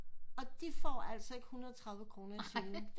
Og de får altså ikke 130 kroner i timen